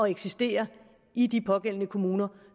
eksistere i de pågældende kommuner